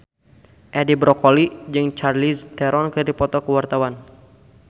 Edi Brokoli jeung Charlize Theron keur dipoto ku wartawan